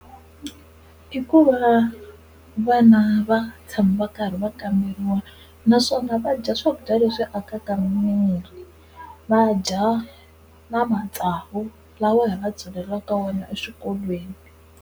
I ku va vana va tshama va karhi va kamberiwa naswona va dya swakudya leswi akaka mirhi, va dya na matsavu lawa hi va byalelaka wona eswikolweni.